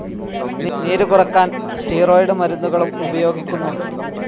നീരു കുറക്കാൻ സ്റ്റിറോയ്ഡ്‌ മരുന്നുകളും ഉപയോഗിക്കുന്നുണ്ട്.